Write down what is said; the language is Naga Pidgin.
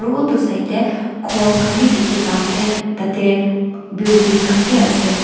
utu side te khor khan bi dikhi pa ase tate building khan bi ase.